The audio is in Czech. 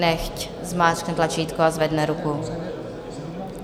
Nechť zmáčkne tlačítko a zvedne ruku.